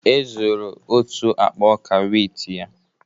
E zuru otu akpa ọka wit ya